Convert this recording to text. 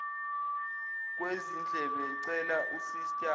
kwezindlebe cela usista